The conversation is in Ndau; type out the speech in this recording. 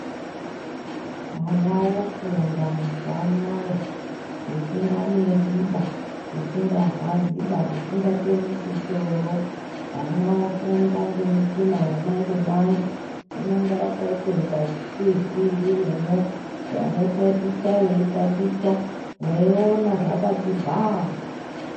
Ana ofunda mazuwa anaya zvisinganesi baa zvingarwadzi baa zvisingatemesi soro ana ofunda ngemushina yamanje manje rinenge rakaitakunga ziTV ririmwo anotaticha eitaticha mweiona zvakati bhaa.